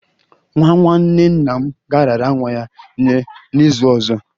Nwa nwanne nna m ga-arara nwa ya nye n'izu ọzọ